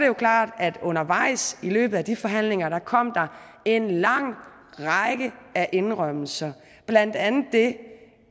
jo klart at der undervejs i løbet af de forhandlinger kom en lang række af indrømmelser blandt andet det